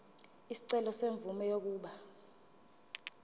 isicelo semvume yokuba